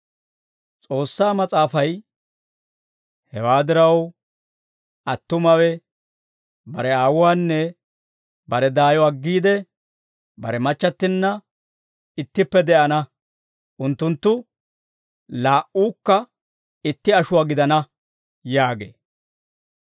S'oossaa Mas'aafay; «Hewaa diraw, attumawe bare aawuwaanne bare daayo aggiide, bare machchattinna ittippe de'ana; unttunttu laa"uukka itti ashuwaa gidana» yaagee.